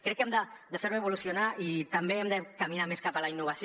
crec que hem de fer lo evolucionar i també hem de caminar més cap a la innovació